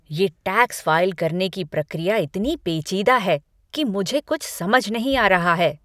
ये tax file करने की प्रक्रिया इतनी पेचीदा है कि मुझे कुछ समझ नहीं आ रहा है!